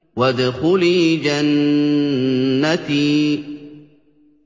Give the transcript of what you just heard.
وَادْخُلِي جَنَّتِي